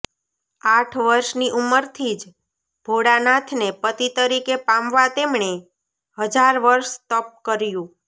આઠ વર્ષની ઉંમરથી જ ભોળાનાથને પતિ તરીકે પામવા તેમણે હજાર વર્ષ તપ કર્યું